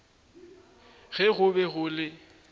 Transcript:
ge go be go le